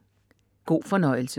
God fornøjelse!